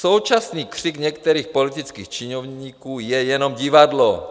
Současný křik některých politických činovníků je jenom divadlo.